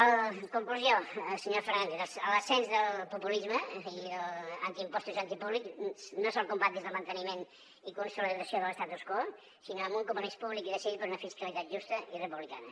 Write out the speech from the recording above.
en conclusió senyor fernández l’ascens del populisme antiimpostos antipúblic no se’l combat des del manteniment i consolidació de l’amb un compromís públic i decidit per una fiscalitat justa i republicana